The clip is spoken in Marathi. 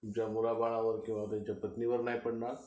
त्यांच्या मुलाबाळांवर किंवा त्यांच्या पत्नीवर नाही पडणार.